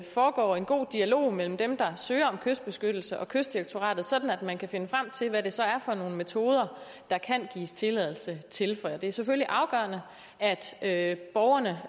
foregår en god dialog mellem dem der søger om kystbeskyttelse og kystdirektoratet sådan at man kan finde frem til hvad det så er for nogle metoder der kan gives tilladelse til for det er selvfølgelig afgørende at borgerne